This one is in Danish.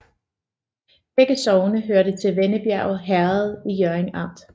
Begge sogne hørte til Vennebjerg Herred i Hjørring Amt